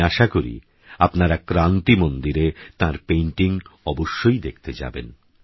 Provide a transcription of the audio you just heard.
আমিআশাকরিআপনারাক্রান্তিমন্দিরেতাঁরpaintingঅবশ্যইদেখতেযাবেন